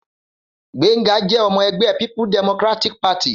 Gbénga jẹ́ ọmọ ẹgbẹ́ people democratic party.